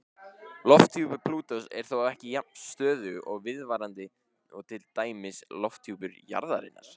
Lofthjúpur Plútós er þó ekki jafn stöðugur og viðvarandi og til dæmis lofthjúpur jarðarinnar.